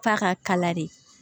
F'a ka kala de